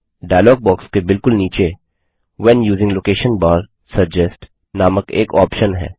dialogue box के बिलकुल नीचे व्हेन यूजिंग लोकेशन बार suggestनामक एक ऑप्शन है